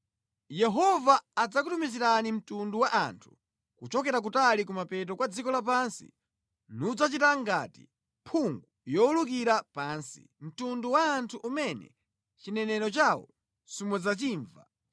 Yehova adzakutumizirani mtundu wa anthu kuchokera kutali kumapeto kwa dziko lapansi nudzachita ngati mphungu yowulukira pansi, mtundu wa anthu umene chiyankhulo chawo simudzachimva,